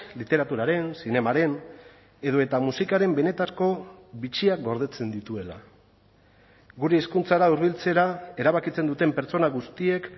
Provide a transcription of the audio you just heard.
literaturaren zinemaren edota musikaren benetako bitxiak gordetzen dituela gure hizkuntzara hurbiltzera erabakitzen duten pertsona guztiek